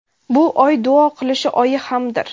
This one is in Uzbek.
bu oy duo qilish oyi hamdir.